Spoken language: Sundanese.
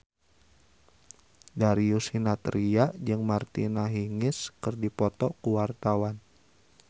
Darius Sinathrya jeung Martina Hingis keur dipoto ku wartawan